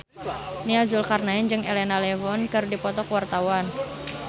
Nia Zulkarnaen jeung Elena Levon keur dipoto ku wartawan